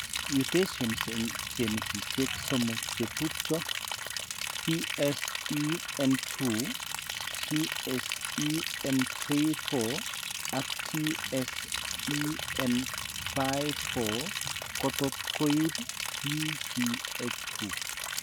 Mutations eng' genisiek somok chetubcho ,TSEN2,TSEN34 ak TSEN54 kotot koib PCH2